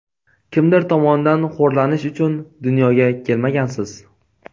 kimdir tomonidan xo‘rlanish uchun dunyoga kelmagansiz.